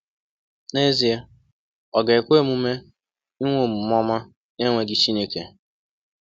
N’ezie, o ga-ekwe omume inwe omume ọma n’enweghị Chineke?